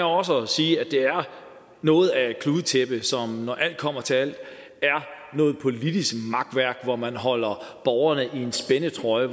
også at sige at det er noget af et kludetæppe som når alt kommer til alt er noget politisk makværk hvor man holder borgerne i en spændetrøje